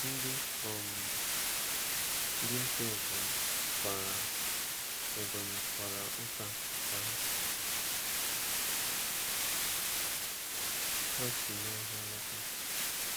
Ndị um dinta Ebonyi kwara Ebonyi kwara ụta ka ha si n’ọhịa lọta.